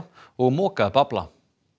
og moka upp afla